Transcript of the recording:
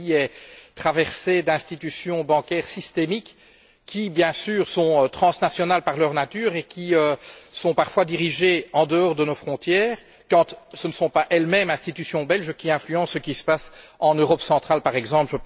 Ce pays est traversé par des institutions bancaires systémiques qui, bien sûr, sont transnationales par nature et qui sont parfois dirigées en dehors de nos frontières, quand ce ne sont pas les institutions belges elles mêmes qui influencent ce qui se passe en Europe centrale, par exemple